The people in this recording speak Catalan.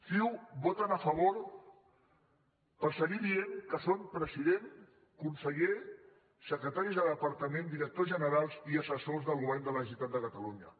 ciu hi voten a favor per seguir dient que són president conseller secretaris de departament directors generals i assessors del govern de la generalitat de catalunya